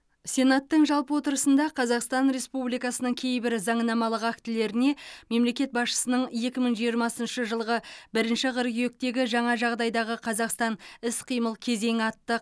сенаттың жалпы отырысында қазақстан республикасының кейбір заңнамалық актілеріне мемлекет басшысының екі мың жиырмасыншы жылғы бірінші қыркүйектегі жаңа жағдайдағы қазақстан іс қимыл кезеңі атты